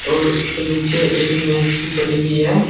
और इसके नीचे एक में मेज सी पड़ी हुई है।